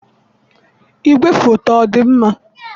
igwefoto ọ dị mma?